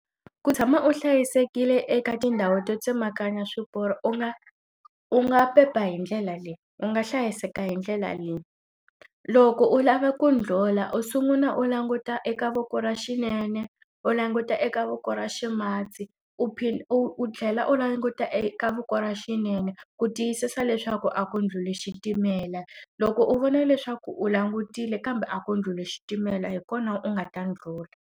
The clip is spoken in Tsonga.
Ku tshama u hlayisekile eka tindhawu to tsemakanya swiporo u nga u nga pepa hi ndlela leyi u nga hlayiseka hi ndlela leyi. Loko u lava ku ndlhula u sungula u languta eka voko ra xinene u languta eka voko ra ximatsi, u u u tlhela u languta eka voko ra xinene ku tiyisisa leswaku a ko ndlhuli xitimela. Loko u vona leswaku u langutile kambe a ko ndlhuli xitimela hi kona u nga ta ndlhula.